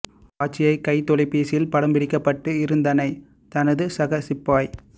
காட்சியை கைத் தொலைபேசியில் படம் பிடிக்கப்பட்டு இருந்தனை தனது சக சிப்பாய்